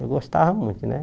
Eu gostava muito, né?